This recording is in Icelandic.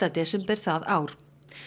desember það ár